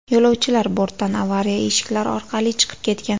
Yo‘lovchilar bortdan avariya eshiklari orqali chiqib ketgan.